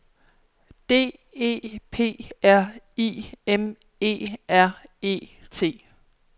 D E P R I M E R E T